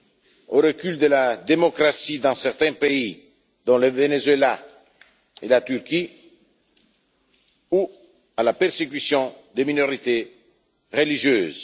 assister au recul de la démocratie dans certains pays, dont le Venezuela et la Turquie, ou à la persécution des minorités religieuses.